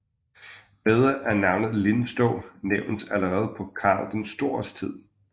Riddere af navnet Linstow nævnes allerede på Karl den Stores tid